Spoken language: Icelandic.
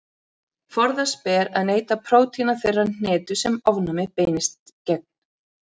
Forðast ber að neyta prótína þeirrar hnetu sem ofnæmið beinist gegn.